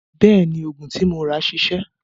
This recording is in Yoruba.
Bẹ́ẹ̀ni, òògùn tí mo rà ṣiṣẹ́.